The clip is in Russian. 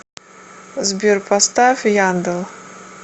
сбер поставь яндел